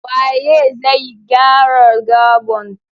Waye zai gyara gabon?